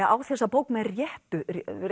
á þessa bók með réttu